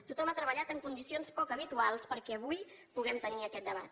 tothom ha treballat en condicions poc habituals perquè avui puguem tenir aquest debat